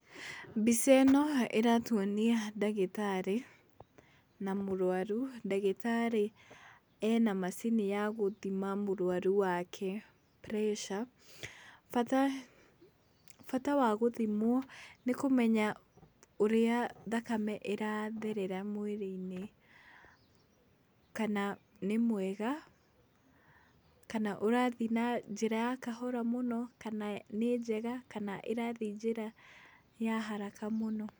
Mbica ĩno ĩratwonia ndagĩtarĩ na mũrwaru, ndagĩtarĩ ena macini ya gũthima mũrwaru wake pressure bata wa gũthimwo nĩ kũmenya ũrĩa thakame ĩrathĩrĩra mwĩrĩnĩ, kana nĩ mwega kana ũrathii na njĩra ya kahora mũno kana nĩ njega kana irathiĩ njĩra ya haraka mũno.